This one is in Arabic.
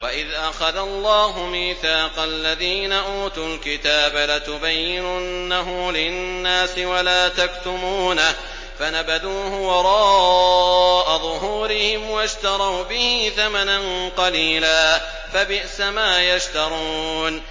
وَإِذْ أَخَذَ اللَّهُ مِيثَاقَ الَّذِينَ أُوتُوا الْكِتَابَ لَتُبَيِّنُنَّهُ لِلنَّاسِ وَلَا تَكْتُمُونَهُ فَنَبَذُوهُ وَرَاءَ ظُهُورِهِمْ وَاشْتَرَوْا بِهِ ثَمَنًا قَلِيلًا ۖ فَبِئْسَ مَا يَشْتَرُونَ